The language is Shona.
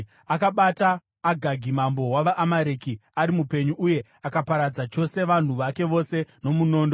Akabata Agagi mambo wavaAmareki ari mupenyu, uye akaparadza chose vanhu vake vose nomunondo.